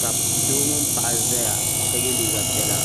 ka doo mini paɣa zaya ka ye liiga piɛla